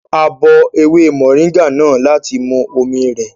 A bọ ewé mọ̀nríngà náà láti mu omi rẹ̀